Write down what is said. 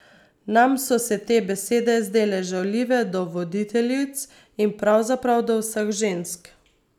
Nam so se te besede zdele žaljive do voditeljic in pravzaprav do vseh žensk ...